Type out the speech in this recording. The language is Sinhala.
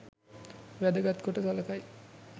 වැදගත් කොට සළකයි.